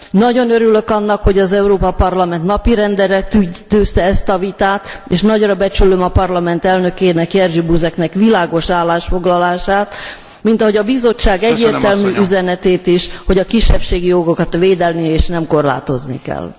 Nagyon örülök annak, hogy az Európai Parlament napirendre tűzte ezt a vitát és nagyra becsülöm a Parlament elnökének, Jerzy Buzeknek világos állásfoglalását, mint hogy a Bizottság egyértelmű üzenetét is, hogy a kisebbségi jogokat védeni, és nem korlátozni kell.